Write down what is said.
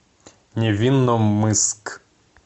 невинномысск